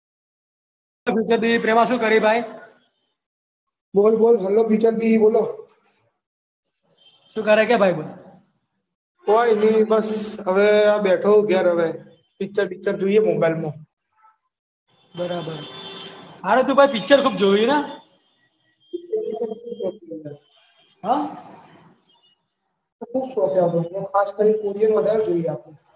બરાબર હારુ ભાઈ તું પિક્ચર ખૂબ જોવી હે ના. હ. કોઈક દહાડો એ તો, ખાસ કરીન કોરિયન વધાર જોઈએ આપણે. બરાબર.